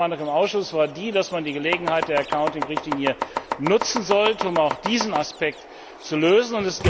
Die Mehrheitsmeinung im Ausschuss war die, dass man die Gelegenheit der Accounting Richtlinie nutzen sollte, um auch diesen Aspekt zu lösen.